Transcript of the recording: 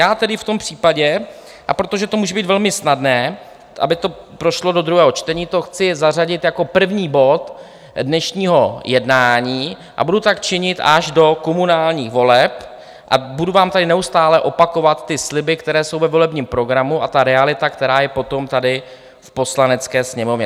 Já tedy v tom případě, a protože to může být velmi snadné, aby to prošlo do druhého čtení, to chci zařadit jako první bod dnešního jednání a budu tak činit až do komunálních voleb a budu vám tady neustále opakovat ty sliby, které jsou ve volebním programu, a ta realita, která je potom tady v Poslanecké sněmovně.